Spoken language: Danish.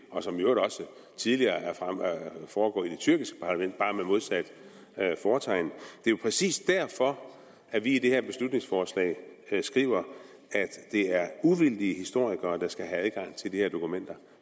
og som i øvrigt også tidligere er foregået i det tyrkiske parlament bare med modsat fortegn det er jo præcis derfor at vi i det her beslutningsforslag skriver at det er uvildige historikere der skal have adgang til de her dokumenter